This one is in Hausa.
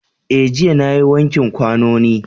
Eh jiya nayi wanke kwanoni